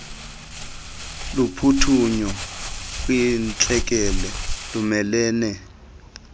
lophuthunyo kwintlekele lumelene